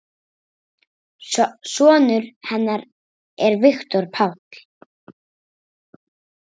Sonur hennar er Viktor Páll.